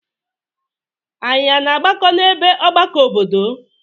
Anyị a na-agbakọ n'ebe ọgbakọ obodo?